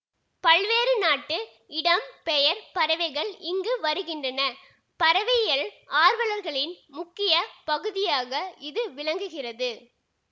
பல்வேறு நாட்டு இடம் பெயர் பறவைகள் இங்கு வருகின்றன பறவையியல் ஆர்வலர்களின் முக்கிய பகுதியாக இது விளங்குகிறது